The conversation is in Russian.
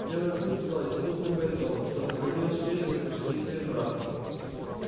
белый клык стал таким искусным бойцом что выходил с честью почти из всех драк